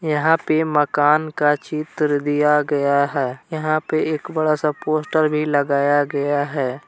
यहां पे मकान का चित्र दिया गया हैं यहां पे एक बड़ा सा पोस्टर भी लगाया गया हैं।